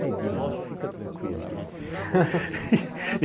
Neguinho, fica tranquilo.